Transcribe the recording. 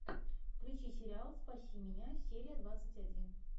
включи сериал спаси меня серия двадцать один